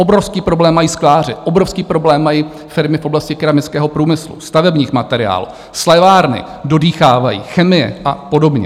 Obrovský problém mají skláři, obrovský problém mají firmy v oblasti keramického průmyslu, stavebních materiálů, slévárny dodýchávají, chemie a podobně.